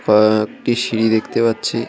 পা একটি সিঁড়ি দেখতে পাচ্ছি।